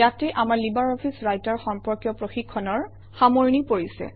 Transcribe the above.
ইয়াতে আমাৰ LibreOffice Writer সম্পৰ্কীয় প্ৰশিক্ষণৰ সামৰণি পৰিছে